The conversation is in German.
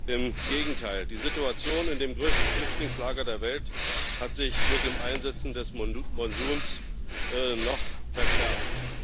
Im Gegenteil Die Situation in dem größten Flüchtlingslager der Welt hat sich mit dem Einsetzen des Monsuns noch verschärft.